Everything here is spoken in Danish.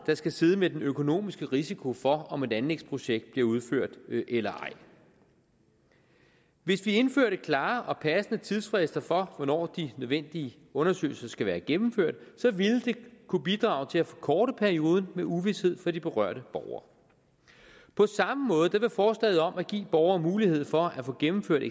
der skal sidde med den økonomiske risiko for om et anlægsprojekt bliver udført eller ej hvis vi indførte klare og passende tidsfrister for hvornår de nødvendige undersøgelser skal være gennemført så ville det kunne bidrage til at forkorte perioden med uvished for de berørte borgere på samme måde er der forslaget om at give borgere mulighed for at få gennemført